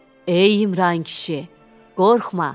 Ey İmran kişi, qorxma.